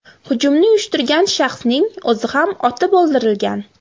Hujumni uyushtirgan shaxsning o‘zi ham otib o‘ldirilgan.